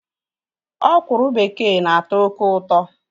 Ọkwụrụ bekee na-atọ oké ụtọ